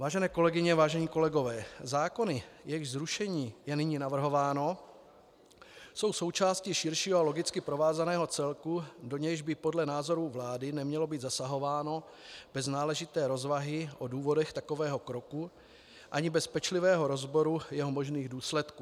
Vážené kolegyně, vážení kolegové, zákony, jejichž zrušení je nyní navrhováno, jsou součástí širšího a logicky provázaného celku, do nějž by podle názoru vlády nemělo být zasahováno bez náležité rozvahy o důvodech takového kroku ani bez pečlivého rozboru jeho možných důsledků.